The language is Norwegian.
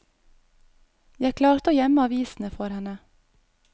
Jeg klarte å gjemme avisene for henne.